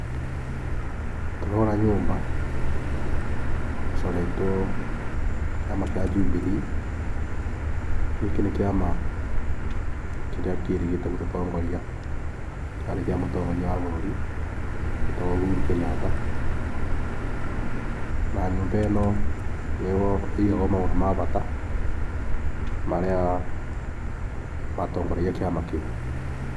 Tũrona nyũmba ĩcoretwo kĩama kĩa Jubilee. Gĩkĩ nĩ kĩama kĩrĩa kĩrĩgĩte gũtũtongoria, kĩarĩ kĩa mũtongoria wa bũrũri wetagwo Uhuru Kenyatta. Na nyũmba ĩno nĩyo ĩigagwo maũndũ ma bata marĩa matongoragia kĩama kĩu.